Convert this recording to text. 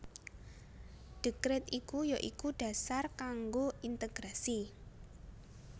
Dekret iku ya iku dasar kanggo integrasi